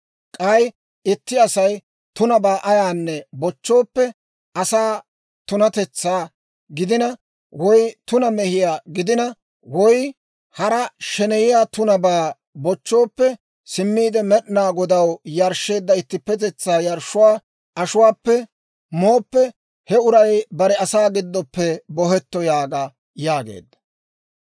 K'ay itti Asay tunabaa ayaanne bochchooppe asaa tunatetsaa gidina woy tuna mehiyaa gidina, woy hara sheneyiyaa tunabaa bochchooppe simmiide Med'inaa Godaw yarshsheedda ittippetetsaa yarshshuwaa ashuwaappe mooppe, he uray bare asaa giddoppe bohetto› yaaga» yaageedda.